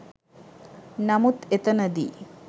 නමුත් එතනදී